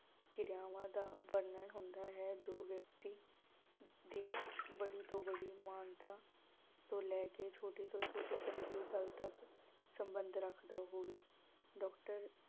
ਕਿਰਿਆਵਾਂ ਦਾ ਵਰਣਨ ਹੁੰਦਾ ਹੈ ਜੋ ਵਿਅਕਤੀ ਦੀ ਬੜੀ ਤੋਂ ਬੜੀ ਮਾਨਤਾ ਤੋਂ ਲੈ ਕੇ ਛੋਟੀ ਤੋਂ ਛੋਟੀ ਘਰੇਲੂ ਗੱਲ ਤੱਕ ਸਬੰਧ ਰੱਖਦਾ ਹੋਵੇ। doctor